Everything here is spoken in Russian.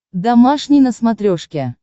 домашний на смотрешке